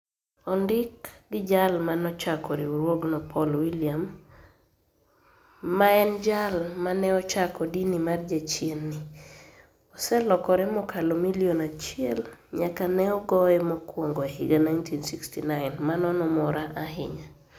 Onidik gi jal ma nochako riwruogno Poul Willium, ma eni jal ma ni e ochako dini mar jachieni, oselokore mokalo milioni achiel niyaka ni e goye mokwonigo e higa 1969. Mano nomora ahiniya.